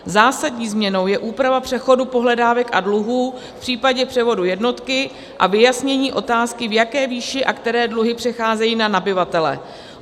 Zásadní změnou je úprava přechodu pohledávek a dluhů v případě převodu jednotky a vyjasnění otázky, v jaké výši a které dluhy přecházejí na nabyvatele.